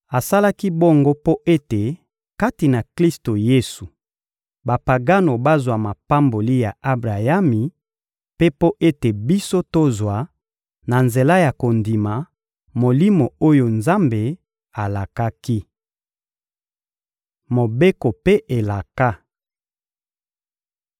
Asalaki bongo mpo ete, kati na Klisto Yesu, Bapagano bazwa mapamboli ya Abrayami, mpe mpo ete biso tozwa, na nzela ya kondima, Molimo oyo Nzambe alakaki. Mobeko mpe elaka